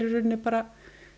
rauninni bara